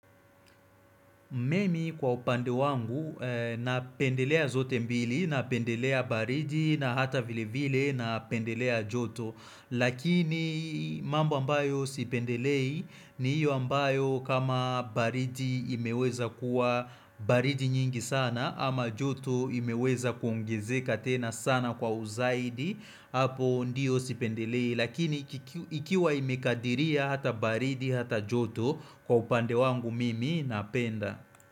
Mimi kwa upande wangu, napendelea zote mbili, napendelea baridi, na hata vile vile, napendelea joto, lakini mambo ambayo sipendelei, ni hiyo ambayo kama baridi imeweza kuwa baridi nyingi sana, ama joto imeweza kuongezeka tena sana kwa uzaidi, hapo ndiyo sipendelei. Lakini ikiwa imekadiria hata baridi hata joto kwa upande wangu mimi napenda.